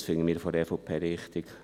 Das finden wir von der EVP richtig.